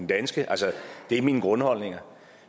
danske altså det er mine grundholdninger